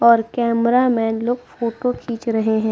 और कैमरामैंन लोग फोटो खीच रहे हैं।